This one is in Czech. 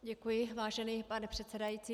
Děkuji, vážený pane předsedající.